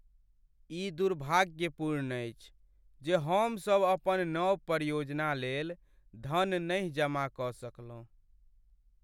ई दुर्भाग्यपूर्ण अछि जे हमसब अपन नव परियोजना लेल धन नहि जमा कऽ सकलहुँ।